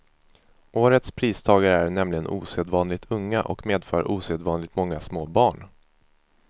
Årets pristagare är nämligen osedvanligt unga och medför osedvanligt många små barn.